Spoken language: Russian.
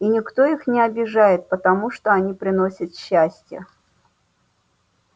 и никто их не обижает потому что они приносят счастье